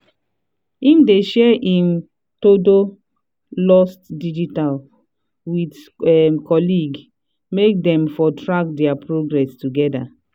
him dey share him todo lost digitally with colleague make them for track their progress together.